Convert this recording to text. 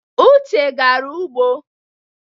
Uche gara ugbo.